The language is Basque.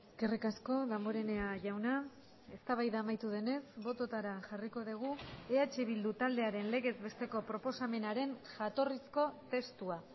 eskerrik asko damborenea jauna eztabaida amaitu denez bototara jarriko dugu eh bildu taldearen legez besteko proposamenaren jatorrizko testua